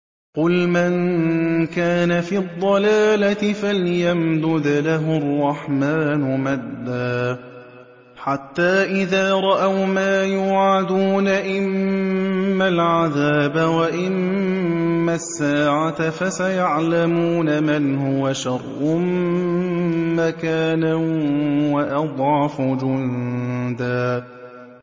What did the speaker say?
قُلْ مَن كَانَ فِي الضَّلَالَةِ فَلْيَمْدُدْ لَهُ الرَّحْمَٰنُ مَدًّا ۚ حَتَّىٰ إِذَا رَأَوْا مَا يُوعَدُونَ إِمَّا الْعَذَابَ وَإِمَّا السَّاعَةَ فَسَيَعْلَمُونَ مَنْ هُوَ شَرٌّ مَّكَانًا وَأَضْعَفُ جُندًا